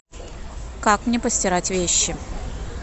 как мне постирать вещи